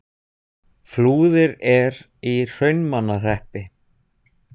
Flúðir er í Hrunamannahreppi.